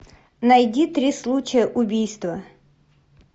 найди три случая убийства